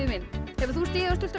hefur þú stigið á